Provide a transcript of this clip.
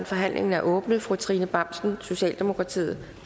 forhandlingen er åbnet fru trine bramsen socialdemokratiet